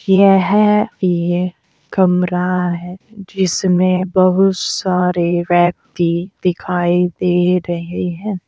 यह एक कमरा है जिसमें बहुत सारे व्यक्ति दिखाई दे रहे हैं।